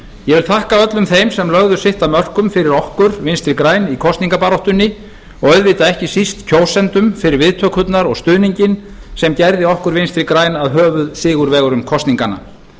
ég vil þakka öllum þeim sem lögðu sitt af mörkum fyrir okkur vinstri græn í kosningabaráttunni og auðvitað ekki síst kjósendum fyrir viðtökurnar og stuðninginn sem gerði okkur vinstri græn að höfuðsigurvegurum kosninganna